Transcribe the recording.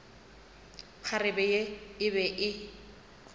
kgarebe ye e be e